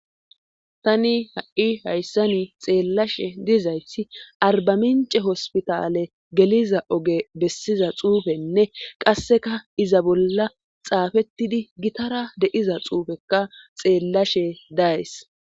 Tani ha,i hayssani xeellashe dizayti arbamince hospitaale geliza oge bessiza xuufenne qasseka iza bolla xaafettidi gitara deiza xuufekka xeellashe days